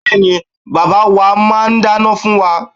Bẹ́ẹ̀ni, bàbá wa máa ń dáná fún wa.